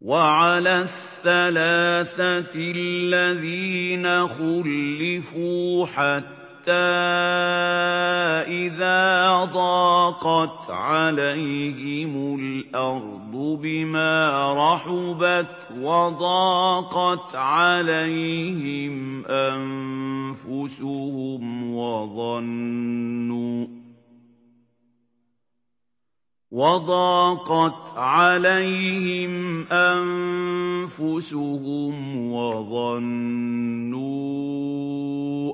وَعَلَى الثَّلَاثَةِ الَّذِينَ خُلِّفُوا حَتَّىٰ إِذَا ضَاقَتْ عَلَيْهِمُ الْأَرْضُ بِمَا رَحُبَتْ وَضَاقَتْ عَلَيْهِمْ أَنفُسُهُمْ وَظَنُّوا